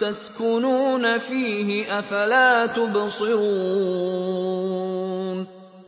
تَسْكُنُونَ فِيهِ ۖ أَفَلَا تُبْصِرُونَ